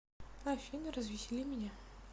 афина развесели меня